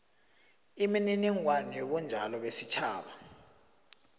imininingwana yobunjalo besitjhaba